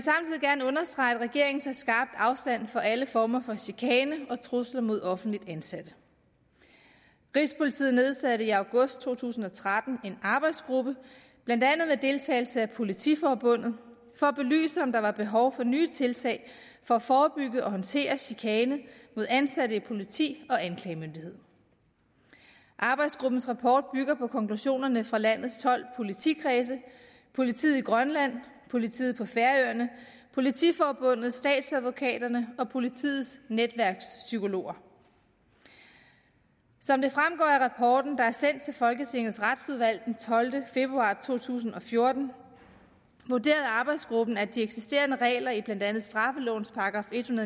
gerne understrege at regeringen tager skarpt afstand fra alle former for chikane og trusler mod offentligt ansatte rigspolitiet nedsatte i august to tusind og tretten en arbejdsgruppe blandt andet med deltagelse fra politiforbundet for at belyse om der var behov for nye tiltag for at forebygge og håndtere chikane mod ansatte i politi og anklagemyndighed arbejdsgruppens rapport bygger på konklusionerne fra landets tolv politikredse politiet i grønland politiet på færøerne politiforbundet statsadvokaterne og politiets netværkspsykologer som det fremgår af rapporten der er sendt til folketingets retsudvalg den tolvte februar to tusind og fjorten vurderede arbejdsgruppen at de eksisterende regler i blandt andet straffelovens § en